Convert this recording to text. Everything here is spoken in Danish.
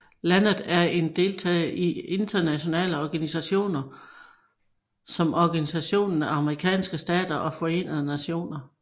Landet er en deltager i internationale organisationer som Organisationen af Amerikanske Stater og Forenede Nationer